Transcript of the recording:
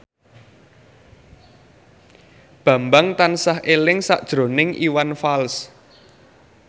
Bambang tansah eling sakjroning Iwan Fals